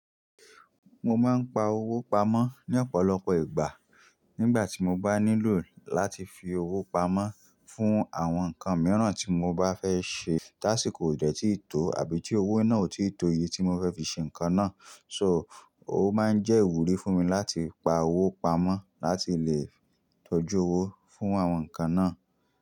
Mo máa ń pa owó pamọ́ ní ọ̀pọ̀lọpọ̀ ìgbà. Nígbà tí mo bá nílò láti fi owó pamọ́ fún àwọn nǹkan mìíràn tí mo bá fẹ́ ṣe, táṣíìkò ò dẹ́ tí ì tó àbí tí owó náà ò tí ì tó iye tí mo fẹ́ fi ṣe nǹkan náà. So, ó máa ń jẹ́ ìwúrí fún mi láti pa owó pamọ́ láti lè tọ́jú owó fún àwọn nǹkan náà.